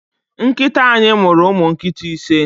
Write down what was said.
Nkita anyi muru umu nkita ise